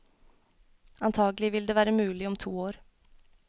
Antagelig vil det være mulig om to år.